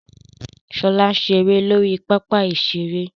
Ṣọlá ń ṣeré lórí pápá ìṣeré